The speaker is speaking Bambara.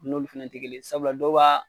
N'olu fana tɛ kelen ye sabula dɔw b'a.